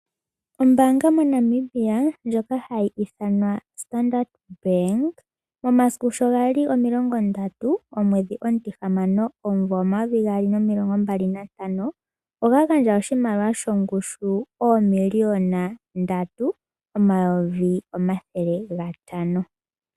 Ombaanga mo Namibia ndjoka hayi ithanwa Standard Bank momasiku sho gali omilongo ndatu omwedhi omutihamano omumvo omayovi gaali nomilongombali nahamano oya gandja oshimaliwa shongushu oomiliyona ndatu omayovi omathele gatano